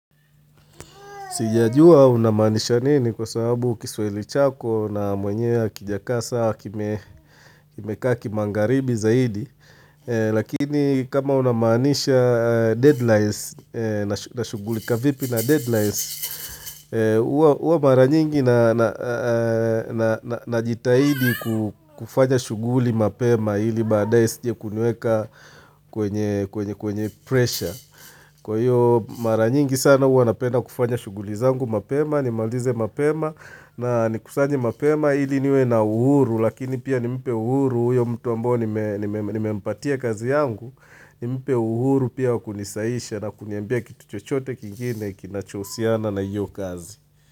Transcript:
Sijajua unamaanisha nini kwa sababu kiswahili chako na mwenyewe hakijakaa sawa kimekaa kimangaribi zaidi. Lakini kama unamaanisha deadlines, na shughulika vipi na deadlines, huwa mara nyingi na najitahidi kufanya shughuli mapema ili baadaye isije kuniweka kwenye presha. Kwa hiyo mara nyingi sana huwa napenda kufanya shughuli zangu mapema, nimalize mapema na nikifanye mapema ili niwe na uhuru lakini pia nimipe uhuru huyo mtu ambao nime nimempatia kazi yangu, nimipee uhuru pia wakunisahihisha na kuniambia kitu chochote kingine kinacho uhusiana na hiyo kazi.